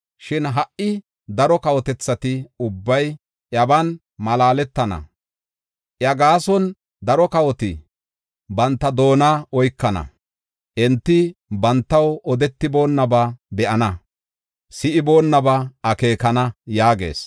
Shin ha77i daro kawotethati ubbay iyaban malaaletana; iya gaason, daro kawoti banta doona oykana. Enti bantaw odetiboonnaba be7ana; si7iboonaba akeekana” yaagees.